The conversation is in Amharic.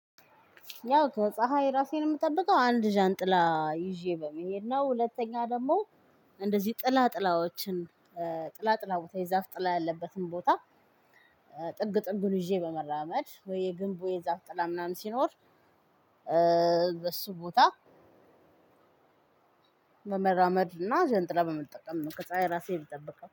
ያው ከፀሀይ ራሴን የምጠብቀው አንድ ዣንጥላ ይዤ በመሄድ ነው። ሁለተኛ ደሞ- እንደዚህ ጥላ ጥላዎችን ጥላ ጥላ ቦታ የዛፍ ጥላ ያለበትን ቦታ ጥግ ጥግ ይዤ በመራመድ ወይ የግንቡ የዛፍ ጥላ ምናምን ሲኖር በሱ ቦታ መራመድና ዣንጥላ በመጠቀም ነው ከፀሀይ ራሴን የምጠብቀው።